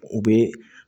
U bɛ